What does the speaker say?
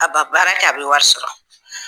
A ba baara kɛ a bɛ wari sɔrɔ